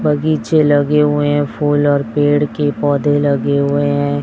बग़ीचे लगे हुए है फूल और पेड़ के पौधे लगे हुए है।